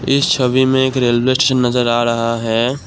इस छवि में एक रेलवे स्टेशन नजर आ रहा है।